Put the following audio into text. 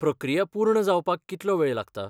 प्रक्रिया पूर्ण जावपाक कितलो वेळ लागता?